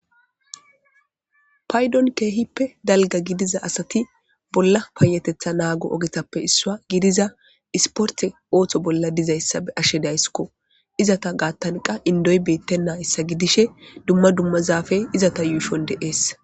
Paydon keehippe dalga gidiza asati bolla payetetha naago ogetappe issua gidiza isporte ooththo bolla dizayssa be ashe daysskko izata gaattan qa indoy beettennayssa gidishe dumma dumma zaafey izata yuushon deees.